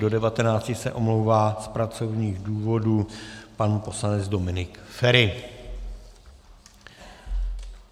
Od 18.30 do 19.00 se omlouvá z pracovních důvodů pan poslanec Dominik Feri.